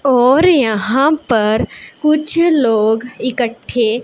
और यहां पर कुछ लोग इकट्ठे--